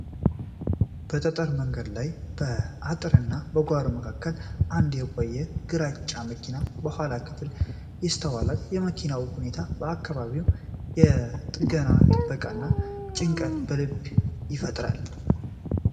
በጠጠር መንገድ ላይ፣ በአጥርና በጓሮ መካከል አንድ የቆየ ግራጫ መኪና የኋላ ክፍል ይስተዋላል። የመኪናው ሁኔታና አካባቢው የጥገናንና የጥበቃን ጭንቀት በልብ ይፈጥራል።